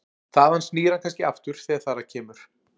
Þaðan snýr hann kannski aftur þegar þar að kemur.